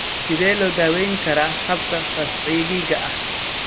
Sidee loo daweyn karaa xabka fascikiga ah?